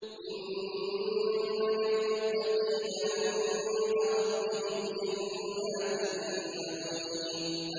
إِنَّ لِلْمُتَّقِينَ عِندَ رَبِّهِمْ جَنَّاتِ النَّعِيمِ